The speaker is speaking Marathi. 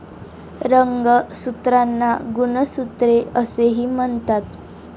रंगसूत्रांना गुणसूत्रे असेही म्हणतात.